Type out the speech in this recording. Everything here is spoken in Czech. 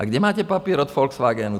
A kde máte papír od Volkswagenu?